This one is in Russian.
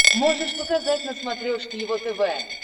можешь показать на смотрешке его тв